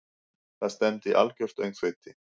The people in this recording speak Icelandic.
Það stefndi í algjört öngþveiti.